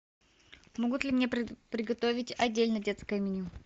могут ли мне приготовить отдельное детское меню